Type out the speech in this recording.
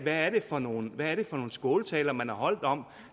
er det for nogle skåltaler man har holdt om